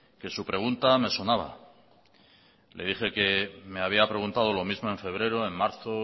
que su pregunta me sonaba le dije que me había preguntado lo mismo en febrero en marzo